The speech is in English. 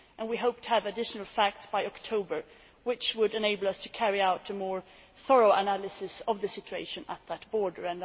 We hope to have additional facts by October, which would enable us to carry out a more thorough analysis of the situation at that border.